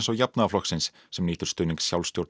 og Jafnaðarflokksins sem nýtur stuðnings